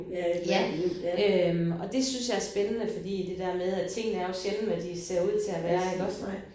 Ja øh og det synes jeg er spændende fordi det der med at tingene er jo sjældent hvad de ser ud til at være iggås